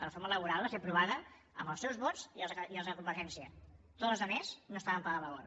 la reforma laboral va ser aprovada amb els seus vots i els de convergència tota la resta no estaven per la labor